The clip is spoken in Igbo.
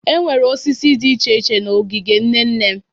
Enwere osisi dị iche iche n'ogige nne nne m.